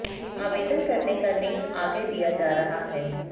आवेदन करने का लिंक आगे दिया जा रहा है